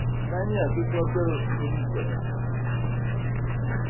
да нет их во-первых три короче